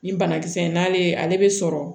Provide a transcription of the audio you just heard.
Ni banakisɛ n'ale ale bɛ sɔrɔ